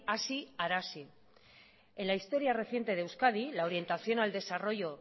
hazi arazi en la historia reciente de euskadi la orientación al desarrollo